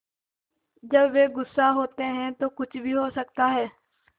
जब वे गुस्सा होते हैं तो कुछ भी हो सकता है